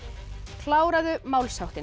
kláraðu